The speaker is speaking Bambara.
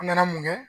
An nana mun kɛ